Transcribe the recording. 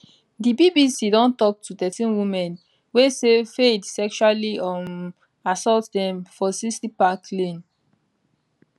di bbc don tok to thirteen women wey say fayed sexually um assault dem for 60 park lane